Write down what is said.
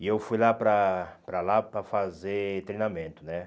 E eu fui lá para para lá para fazer treinamento, né?